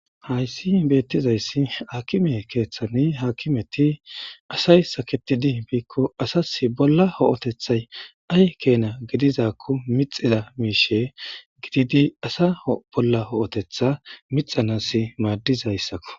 hayssi beettizayssi akime keeththani haakimeti asay saketidi biikko asas bolla ho7otethay ay keena gidizakko mixida miishe gididi asa bolla ho7otetha mixanas maaddizayssakko